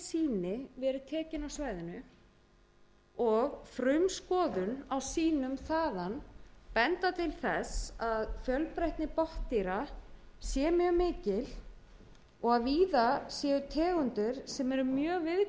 á svæðinu og frumskoðun á sýnum þaðan benda til þess að fjölbreytni botndýra sé mjög mikil og að víða séu tegundir mjög viðkvæmar fyrir raski